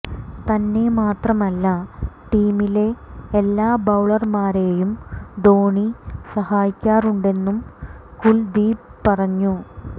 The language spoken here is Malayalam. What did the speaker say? തന്നെ മാത്രമല്ല ടീമിലെ എല്ലാ ബൌളര്മാരെയും ധോണി സഹായിക്കാറുണ്ടെന്നും കുല്ദീപ് പറഞ്ഞു